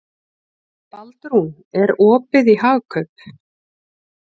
Baldrún, er opið í Hagkaup?